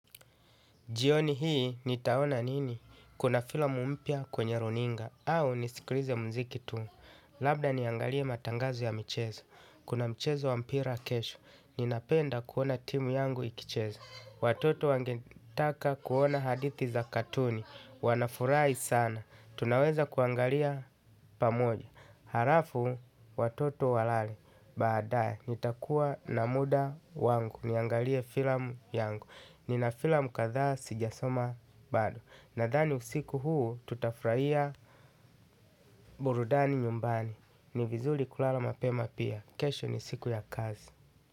Jioni hii, nitaona nini? Kuna filamu mpya kwenye runinga, au nisikirize mziki tu. Labda niangalie matangazo ya michezo. Kuna mchezo wa mpira kesho. Ninapenda kuona timu yangu ikicheza. Watoto wangetaka kuona hadithi za katuni. Wanafurai sana. Tunaweza kuangalia pamoja. Harafu, watoto walale. Baadae, nitakuwa na muda wangu. Niangalie filamu yangu. Nina filamu kathaa sijasoma bado. Nathani usiku huu tutafraia burudani nyumbani. Ni vizuri kulala mapema pia. Kesho ni siku ya kazi.